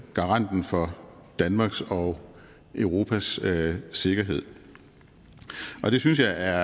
garanten for danmarks og europas sikkerhed og det synes jeg er